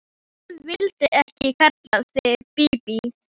En ég vildi ekki kalla þig Bíbí.